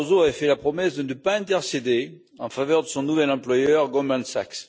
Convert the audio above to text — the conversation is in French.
Barroso avait fait la promesse de ne pas intercéder en faveur de son nouvel employeur, Goldman Sachs.